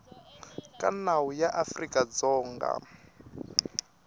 ka nawu ya afrika dzonga